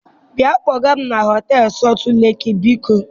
Bia kpọga m na họtelu Sọltụ Leki, biko.